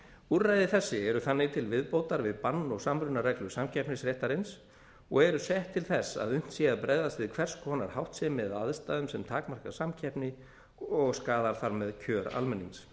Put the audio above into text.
úrræði þessi eru þannig til viðbótar við bann og samrunareglur samkeppnisréttarins og eru sett til þess að unnt sé bregðast við hvers konar háttsemi eða aðstæðum sem takmarka samkeppni og skaðar þar með kjör almennings